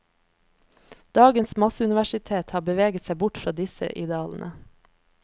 Dagens masseuniversitet har beveget seg bort fra disse idealene.